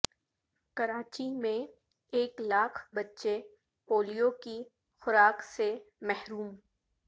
کراچی میں ایک لاکھ بچے پولیو کی خوارک سے محروم